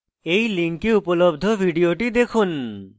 এই link উপলব্ধ video দেখুন